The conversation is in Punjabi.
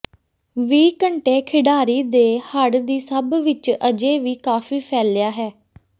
ਵੀ ਘੰਟੇ ਖਿਡਾਰੀ ਦੇ ਹੜ੍ਹ ਦੀ ਸਭ ਵਿੱਚ ਅਜੇ ਵੀ ਕਾਫ਼ੀ ਫੈਲਿਆ ਹੈ